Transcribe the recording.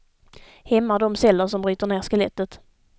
Hämmar de celler som bryter ner skelettet.